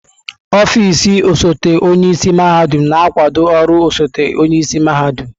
Ọfịs osote onye isi mahadum na-akwado ọrụ osote-onye isi mahadum.